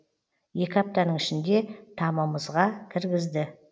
екі аптаның ішінде тамымызға кіргізді